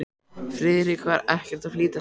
Friðrik var ekkert að flýta sér.